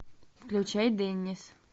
включай деннис